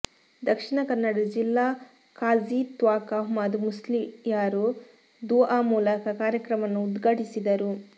ದಕ್ಷಿಣ ಕನ್ನಡ ಜಿಲ್ಲಾ ಖಾಝಿ ತ್ವಾಕ ಅಹ್ಮದ್ ಮುಸ್ಲಿಯಾರ್ ದುಅ ಮೂಲಕ ಕಾರ್ಯಕ್ರಮವನ್ನು ಉದ್ಘಾಟಿಸಿದರು